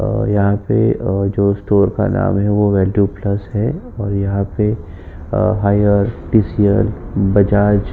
और यहाँ पे अ जो स्टोर का जो नाम है वह वैल्यू प्लस है और यहाँ पे हाईएर टी.सी.एल बजाज --